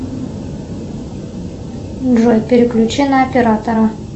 джой переключи на оператора